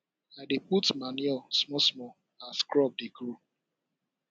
i dey put manure small small as crop dey grow